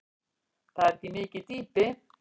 Það er ekki mikið dýpi.